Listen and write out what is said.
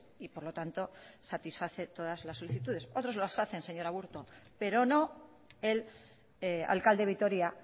y por lo tanto satisface todas las solicitudes otros los hacen señora aburto pero no el alcalde de vitoria